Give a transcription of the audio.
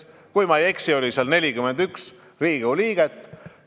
Kui ma ei eksi, siis hääletas selle poolt 41 Riigikogu liiget.